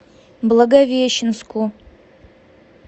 благовещенску